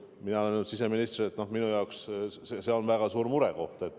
Mina olen öelnud siseministrile, et minu jaoks on see väga suur murekoht.